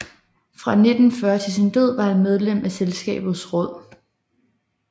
Fra 1940 til sin død var han medlem af Selskabets råd